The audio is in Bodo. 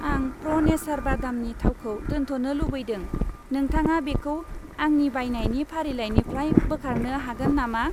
आं प्र' नेचार बादामनि थावखौ दोनथ'नो लुबैदों, नोंथाङा बेखौ आंनि बायनायनि फारिलाइनिफ्राय बोखारनो हागोन नामा?